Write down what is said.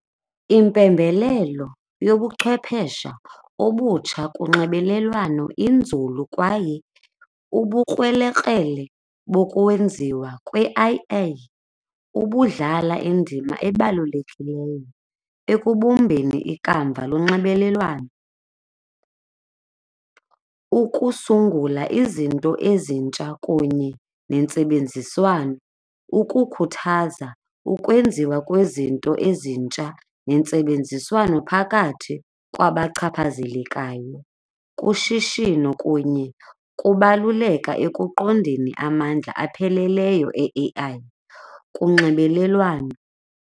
Impembelelo yobuchwephesha obutsha kunxibelelwano inzulu kwaye ubukrelekrele bokwenziwa kwe-I_A ubudlala indima ebalulekileyo ekubumbeni ikamva lonxibelelwano, ukusungula izinto ezintsha kunye nentsebenziswano, ukukhuthaza ukwenziwa kwezinto ezintsha nentsebenziswano phakathi kwabachaphazelekayo, kushishino kunye kubaluleka ekuqondeni amandla apheleleyo e-A_I kunxibelelwano.